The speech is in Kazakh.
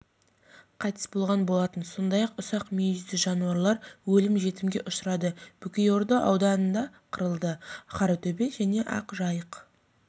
қайтыс болған болатын сондай-ақ ұсақ мүйізді жануарлар өлім-жітімге ұшырады бөкейорда ауданында қырылды қаратөбе және ақжайық